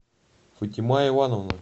фатима ивановна